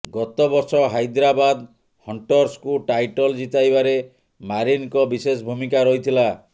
ଗତ ବର୍ଷ ହାଇଦ୍ରାବାଦ ହଣ୍ଟର୍ସକୁ ଟାଇଟଲ ଜିତାଇବାରେ ମାରିନଙ୍କ ବିଶେଷ ଭୂମିକା ରହିଥିଲା